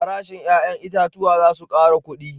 Farashin 'ya'yan itatuwa za su kara kudi